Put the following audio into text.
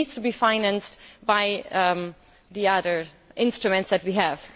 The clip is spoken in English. It needs to be financed by the other instruments that we have.